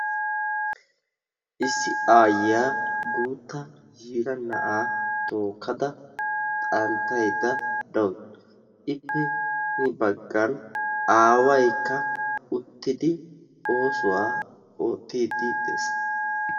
Issi aayiya guutta yiira na'aa tookkada xanttaydda dawusu. Ippe hini baggan aawaykka uttidi oosuwaa oottiiddi dees.